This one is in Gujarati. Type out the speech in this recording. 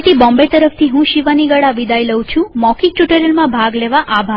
આઈઆઈટી બોમ્બે તરફથી હું શિવાની ગડા વિદાય લઉં છુંઆ મૌખિક ટ્યુ્ટોરીઅલમાં ભાગ લેવા તમારો આભાર